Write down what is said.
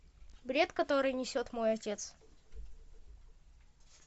бред который несет мой отец